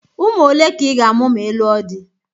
Ụmụ ole ka ị ga-amụ ma ị lụọ di?